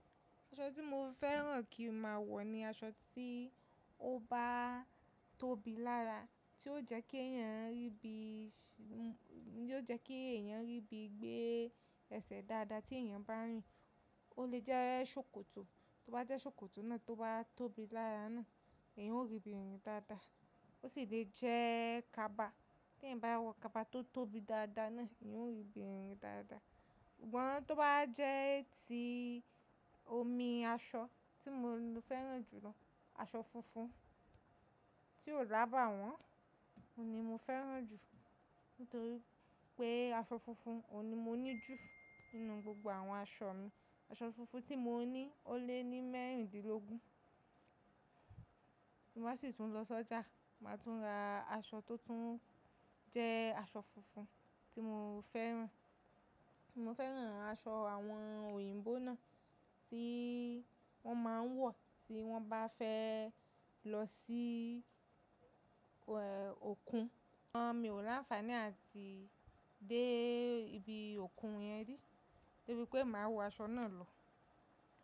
Aṣọ tí mo fẹ́ràn kí mo máa wọ̀ ni aṣọ tí ó bá tóbi lára, tí yóò jẹ́ kí èèyàn rí bí ì, tí yóò jẹ́ kí èèyàn rí bí gbé ẹsẹ̀ dáadáa tí èèyàn bá rìn. Ó lè jẹ́ ṣòkòtò, tó bá jẹ́ ṣòkòtò náà tó bá tóbi lára náà, èèyàn yoó rí bí i rìn dáadáa. Ó sì le jẹ́ kaba, tí ẹ̀yin bá wọ kaba tó tóbi dáadáa náà, èèyàn ó rí bí i rìn dáadáa. Sugbon tó bá jẹ́ ti omi aṣọ tí mo fẹ́ràn jù lọ, aṣọ funfun tí ò lábàwọ́n, òun ni mo fẹ́ràn jù nítorí pé aṣọ funfun òun ni mo ní ju nínú gbogbo àwọn aṣọ mi. Aṣọ funfun tí mo ní ó lé ní mẹ́rìndínlógún, mo má sì tún lọ sójà, màá tún ra aṣọ tó tún jẹ́ aṣọ funfun tí mo fẹ́ràn. Mo fẹ́ràn aṣọ àwọn òyìnbó náà tí wọ́n máa ń wọ̀ tí wọ́n bá fẹ́ lọ sí, e òkun. Sugbon mi ò láǹfààní àti dé ibi òkun yẹn rí, torí pé màá wọ aṣọ náà lọ.